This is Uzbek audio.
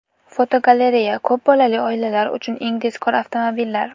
Fotogalereya: Ko‘p bolali oilalar uchun eng tezkor avtomobillar.